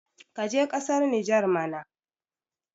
ka je kasar niger mana